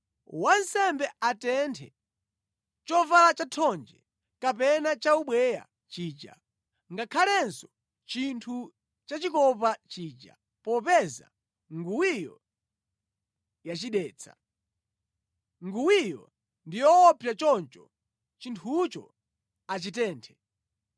Wansembe atenthe chovala chathonje kapena chaubweya chija, ngakhalenso chinthu chachikopa chija popeza nguwiyo yachidetsa. Nguwiyo ndi yoopsa choncho chinthucho achitenthe.